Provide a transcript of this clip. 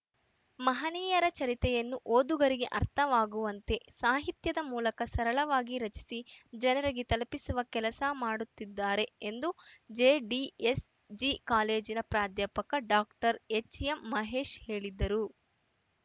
ಮಹನೀಯರ ಚರಿತ್ರೆಯನ್ನು ಓದುಗರಿಗೆ ಅರ್ಥವಾಗುವಂತೆ ಸಾಹಿತ್ಯದ ಮೂಲಕ ಸರಳವಾಗಿ ರಚಿಸಿ ಜನರಿಗೆ ತಲುಪಿಸುವ ಕೆಲಸ ಮಾಡಿದ್ದಾರೆ ಎಂದು ಎಂದು ಜೆ ಡಿಎಸ್‌ ಜಿ ಕಾಲೇಜಿನ ಪ್ರಾಧ್ಯಾಪಕ ಡಾಕ್ಟರ್ ಎಚ್‌ಎಂ ಮಹೇಶ್‌ ಹೇಳಿದರು